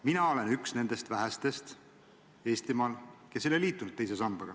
Mina olen Eestimaal üks nendest vähestest, kes ei ole teise sambaga liitunud.